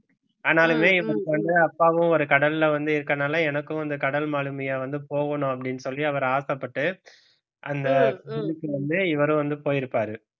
ஆனாலுமே இவருக்கு வந்து அப்பாவும் ஒரு கடல்ல வந்து இருக்கறதுனால எனக்கும் இந்த கடல் மாலுமியா வந்து போகணும் அப்படின்னு சொல்லி அவர் ஆசைப்பட்டு அந்த வந்து இவரும் வந்து போயிருப்பாரு